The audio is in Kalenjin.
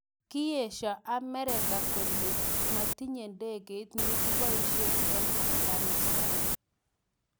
Kiesio Amerika kole matinye ndegeit ne kikiboisie eng Afkanistan.